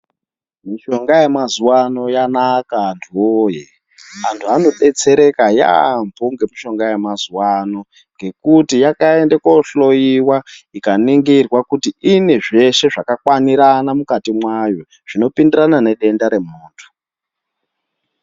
Mishonga yemazuwano yanaka antu woye , antu anodetsereka yaamho ngemishonga yemazuwano , ngekuti yakaende koohloyiwa ikaningirwa kuti ine zveshe zvakakwanirana mukati mwayo zvinopindirana nedenda remuntu.